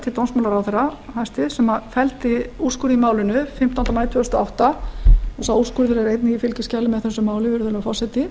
til dómsmálaráðherra hæstvirts sem felldi úrskurð í málinu fimmtánda maí tvö þúsund og átta og er sá úrskurður einnig í fylgiskjali með þessu máli virðulegur forseti